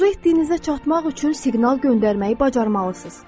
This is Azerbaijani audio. Arzu etdiyinizə çatmaq üçün siqnal göndərməyi bacarmalısınız.